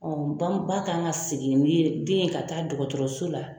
ba kan ka segin olu ye den ye ka taa dɔgɔtɔrɔso la.